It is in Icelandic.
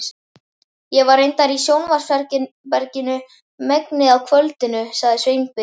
Ég var reyndar í sjónvarpsherberginu megnið af kvöldinu sagði Sveinbjörn.